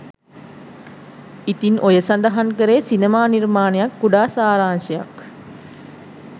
ඉතින් ඔය සඳහන් කරේ සිනමා නිර්මාණයේ කුඩා සාරාංශයක්